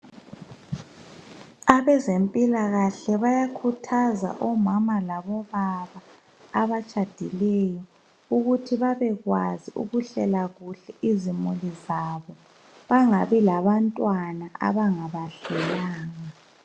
Abezempilakahle bayakhuthaza omama labobaba abatshadileyo ukuthi babekwazi ukuhlela kuhle izimuli zabo bangabi labantwana abangabahlelanga.